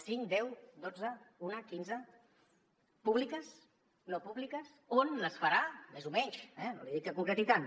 cinc deu dotze una quinze públiques no públiques on les farà més o menys no li dic que concreti tant